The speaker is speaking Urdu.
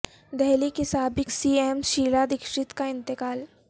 دہلی کی سابق سی ایم شیلا دکشت کا انتقال